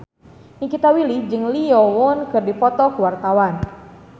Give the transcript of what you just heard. Nikita Willy jeung Lee Yo Won keur dipoto ku wartawan